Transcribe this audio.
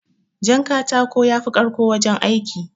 Jan katako yafi karko wajen aiki